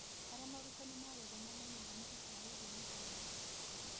Harĩa morutani ma gĩthomo moimaga nĩ gũtaarĩirio maita maingĩ.